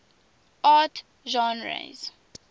art genres